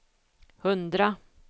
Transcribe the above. hundra